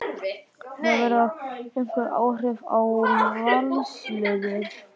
Hefur það einhver áhrif á Valsliðið?